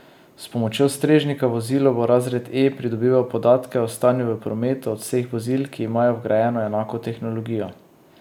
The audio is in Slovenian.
S pomočjo strežnika v vozilu bo razred E pridobival podatke o stanju v prometu od vseh vozil, ki imajo vgrajeno enako tehnologijo.